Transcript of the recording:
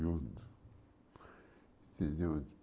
Junto. Sim junto